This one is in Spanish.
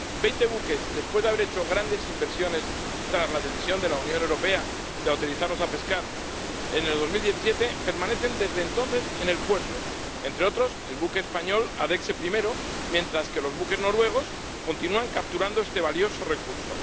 Veinte buques, después de haber hecho grandes inversiones tras la decisión de la Unión Europea de autorizarlos a pescar en 2017, permanecen desde entonces en el puerto, entre otros, el buque español Adexe Primero mientras que los buques noruegos continúan capturando este valioso recurso.